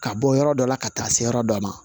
Ka bɔ yɔrɔ dɔ la ka taa se yɔrɔ dɔ ma